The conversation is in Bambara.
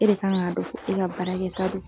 E de ka kan ka dɔn ko e ka baarakɛta do.